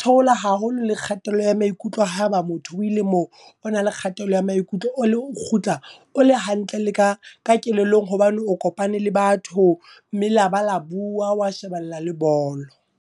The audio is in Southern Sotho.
theola haholo le kgatello ya maikutlo haba motho o ile moo o na le kgatello ya maikutlo. O kgutla o le hantle le ka kelellong hobane o kopane le batho, mme laba la bua, wa shebella le bolo.